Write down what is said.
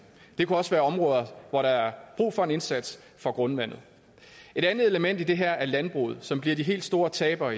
det kunne også være områder hvor der er brug for en indsats for grundvandet et andet element i det her er landbruget som bliver de helt store tabere